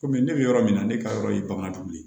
Kɔmi ne bɛ yɔrɔ min na ne ka yɔrɔ ye bagandugu ye